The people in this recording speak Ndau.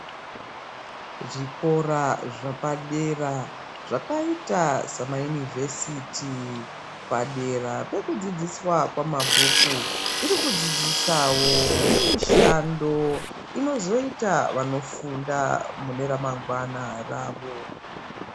Zvikora zvapadera zvakaita samayunivhesiti padera pekudzidziswa kwamabhuku chiri kudzidzisawo zvemishando inozoita vanofunda mune ramngwana rawo.